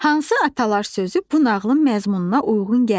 Hansı atalar sözü bu nağılın məzmununa uyğun gəlmir?